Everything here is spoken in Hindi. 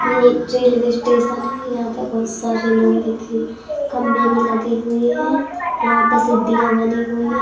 ये एक रेल्वे स्टेशन है। यहां पे बहुत सारे लोग ही थे। खंबे भी लगे हुए हैं। यहां पे सीढ़ियां बनी हुई है।